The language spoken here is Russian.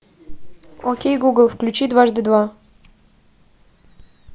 окей гугл включи дважды два